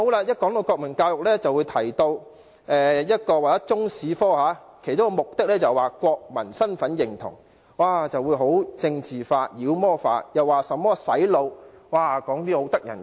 一扯到國民教育，他們便會說中史科其中一個教學目的是國民身份認同，頓時將問題政治化、妖魔化，說甚麼"洗腦"之類可怕的事情。